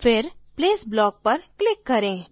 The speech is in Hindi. फिर place block पर click करें